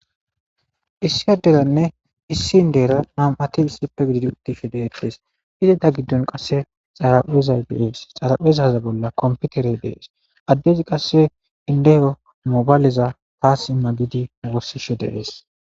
Issi adderanne issi inddera nam'ati issippe gididi uttishe de'etees; izeta giddon qasse xaraphezay de'es; xaraphezaza bolla kompiterey de'es; addezi qasse indeyo mobaleza haa simma giidi woosishe de'es.